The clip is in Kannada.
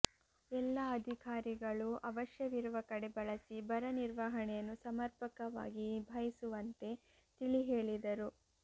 ಎಲ್ಲಾ ಅಧಿಕಾರಿಗಳು ಅವಶ್ಯವಿರುವ ಕಡೆ ಬಳಸಿ ಬರ ನಿರ್ವಹಣೆಯನ್ನು ಸಮರ್ಪಕವಾಗಿ ನಿಭಾಹಿಸುವಂತೆ ತಿಳಿ ಹೇಳಿದರು